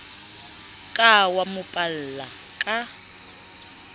ka wa mo palla ka